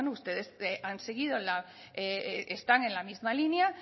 bueno ustedes están en la misma línea